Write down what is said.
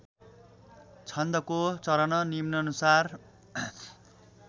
छन्दको चरण निम्नानुसार